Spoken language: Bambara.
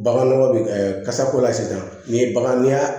Baganɔgɔ bɛ kasako la sisan ni bagan n'i y'a